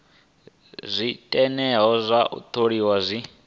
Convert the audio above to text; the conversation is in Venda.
zwiteṅwa zwa u tholiwa zwi